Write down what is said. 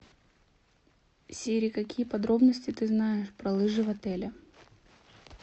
сири какие подробности ты знаешь про лыжи в отеле